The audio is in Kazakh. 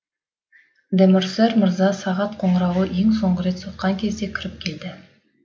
де морсер мырза сағат қоңырауы ең соңғы рет соққан кезде кіріп келді